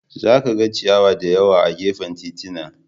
Za ka ga ciyawa da yawa a gefen titina.